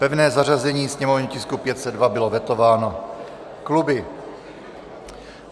Pevné zařazení sněmovního tisku 502 bylo vetováno kluby.